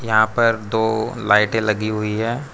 यहां पर दो लाइटे लगी हुई हैं।